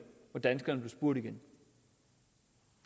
hvor danskerne blev spurgt igen